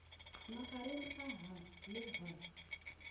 magareng ga h le h